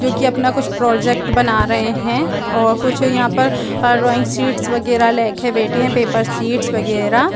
जो की अपना कुछ प्रोजेक्ट बना रहे है और कुछ यहाँ पर रोइंग शीट वगैरह ले के बैठे है पेपर शीट वगैरह--